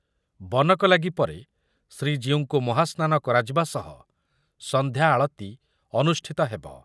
ବନକଲାଗି ପରେ ଶ୍ରୀଜୀଉଙ୍କୁ ମହାସ୍ନାନ କରାଯିବା ସହ ସନ୍ଧ୍ୟାଆଳତୀ ଅନୁଷ୍ଠିତ ହେବ ।